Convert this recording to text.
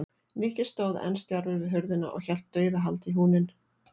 Nikki stóð enn stjarfur við hurðina og hélt dauðahaldi í húninn.